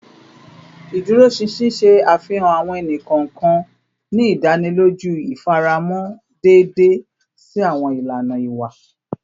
Iduroṣinṣin ṣe afihan awọn ẹni kọọkan, ni idaniloju ifaramọ deede si awọn ilana iwa